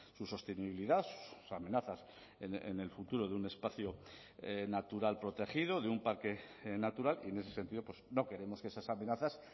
su sostenibilidad amenazas en el futuro de un espacio natural protegido de un parque natural y en ese sentido no queremos que esas amenazas